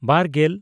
ᱵᱟᱨᱼᱜᱮᱞ